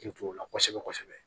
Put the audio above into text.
K'i to o la kosɛbɛ kosɛbɛ